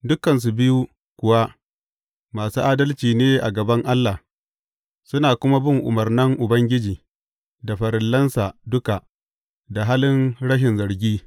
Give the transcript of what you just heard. Dukansu biyu kuwa masu adalci ne a gaban Allah, suna kuma bin umarnan Ubangiji da farillansa duka da halin rashin zargi.